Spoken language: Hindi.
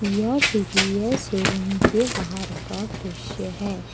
यह टी वी एस शो रूम के बाहर का दृश्य है।